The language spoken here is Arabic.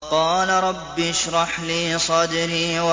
قَالَ رَبِّ اشْرَحْ لِي صَدْرِي